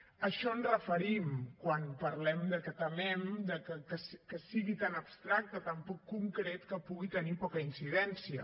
a això ens referim quan parlem de que temem que sigui tan abstracte tan poc concret que pugui tenir poca incidència